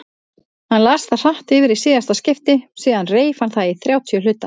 Hann las það hratt yfir í síðasta skipti, síðan reif hann það í þrjátíu hluta.